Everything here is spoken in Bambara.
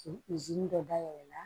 dɔ dayɛlɛ